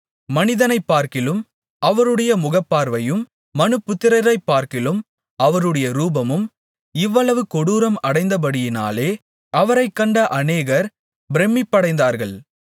மனிதனைப்பார்க்கிலும் அவருடைய முகப்பார்வையும் மனுபுத்திரரைப்பார்க்கிலும் அவருடைய ரூபமும் இவ்வளவு கொடூரம் அடைந்தபடியினாலே அவரைக்கண்ட அநேகர் பிரமிப்படைந்தார்கள்